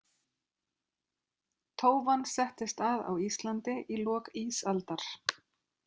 Tófan settist að á Íslandi í lok ísaldar.